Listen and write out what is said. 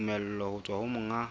tumello ho tswa ho monga